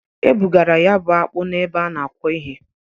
E bugara ya bụ akpụ na-ebe a na-akwọ ihe.